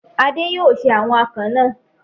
Adé yóò se àwọn akàn náà.